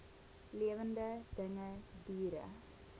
lewende dinge diere